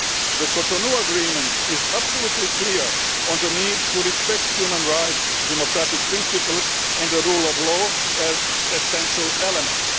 The Cotonou Agreement is absolutely clear on the need to respect human rights, democratic principles and the rule of law as essential elements.